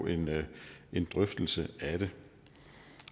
en drøftelse af det